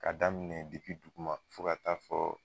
Ka daminɛ depi duguma fɔ ka taa fɔ